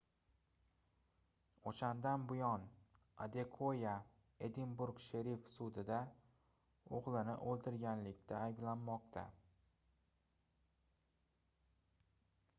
oʻshandan buyon adekoya edinburg sherif sudida oʻgʻlini oʻldirganlikda ayblanmoqda